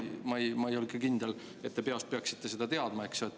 Noh, ma ei ole ka kindel, et te peast peaksite seda teadma.